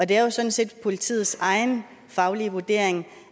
det er jo sådan set politiets egen faglige vurdering